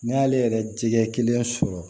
N'i y'ale yɛrɛ jɛgɛ kelen sɔrɔ